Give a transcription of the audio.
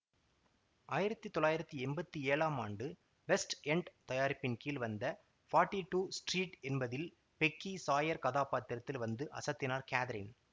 ஆயிரத்தி தொள்ளாயிரத்தி எம்பத்தி ஏழாம் ஆண்டு வெஸ்ட் எண்ட் தயாரிப்பின் கீழ் வந்த போர்ட்டி டூ ஸ்டீரீட் என்பதில் பெக்கி சாயர் கதாப்பாத்திரத்தில் வந்து அசத்தினார் கேதரின்